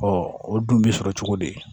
o dun bɛ sɔrɔ cogo di